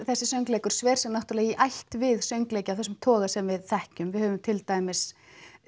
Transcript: þessi söngleikur sver sig náttúrulega í ætt við söngleiki af þessum toga sem við þekkjum við höfum til dæmis